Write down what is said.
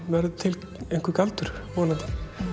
verður til einhver galdur vonandi